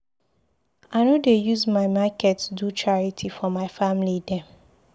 I no dey use my market do charity for my family dem.